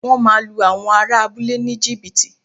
Wọ́n máa lu àwọn ará abúlé ní jìbìtì